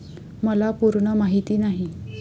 मला पूर्ण माहिती नाही.